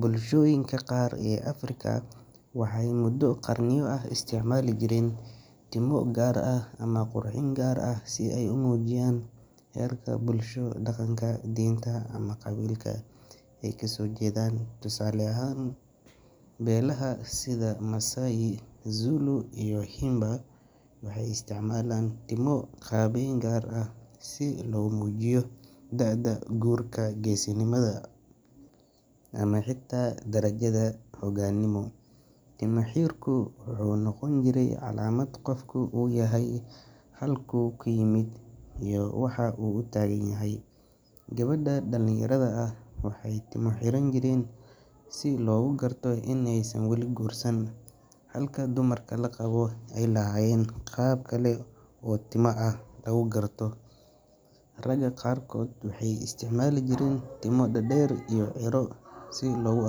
Bulshooyinka qaar ee Afrika waxay muddo qarniyo ah isticmaali jireen timo gaar ah ama qurxin gaar ah si ay u muujiyaan heerka bulsho, dhaqanka, diinta, ama qabiilka ay ka soo jeedaan. Tusaale ahaan, beelaha sida Maasai, Zulu, iyo Himba waxay isticmaalaan timo qaabeyn gaar ah si loogu muujiyo da’da, guurka, geesinimada, ama xitaa darajada hoggaanimo. Timo xirku wuxuu noqon jiray calaamad qofka uu yahay, halkuu ka yimid, iyo waxa uu u taagan yahay. Gabdhaha dhalinyarada ah waxay timo xiran jireen si loogu garto inaysan wali guursan, halka dumarka la qabo ay lahaayeen qaab kale oo timo ah oo lagu garto. Ragga qaarkood waxay isticmaali jireen timo dhaadheer iyo ciiro si loogu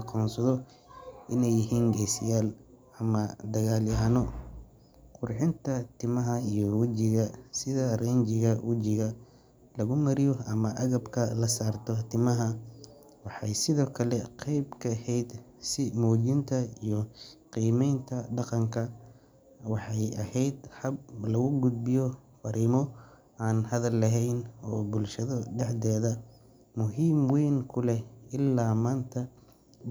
aqoonsado inay yihiin geesiyaal ama dagaalyahanno. Qurxinta timaha iyo wajiga, sida rinjiga wajiga lagu mariyo ama agabka la saarto timaha, waxay sidoo kale qeyb ka ahayd is muujinta iyo qiimeynta dhaqanka. Waxay ahayd hab lagu gudbiyo farriimo aan hadal lahayn, oo bulshada dhexdeeda muhiim weyn ku leh. Ilaa maanta, dha.